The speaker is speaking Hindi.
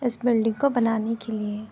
इस बिल्डिंग को बनाने के लिए --